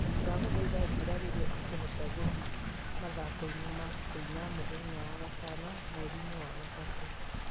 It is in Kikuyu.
Ndagũthaitha njĩĩra rĩrĩa ingĩhota gũthiĩ mathako-inĩ ma kũina mũthenya wa gatano mweri-inĩ wa gatatũ.